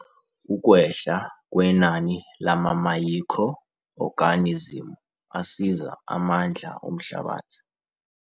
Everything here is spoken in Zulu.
Ukwehla kwenani lamamayikhro-oganizimu asiza amandla omhlabathi.